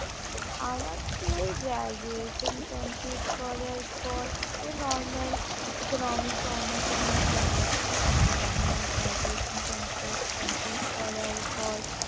আমার তো এই graduation complete করার পর আমি normal economics honours নিয়ে পড়েছি তো আমার graduation কমপ্ল~ complete করার পর